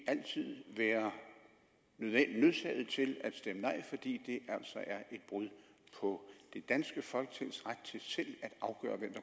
altid være nødsaget til at stemme nej fordi det altså er et brud på det danske folketings ret til selv at afgøre hvem